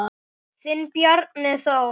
Þinn Bjarni Þór.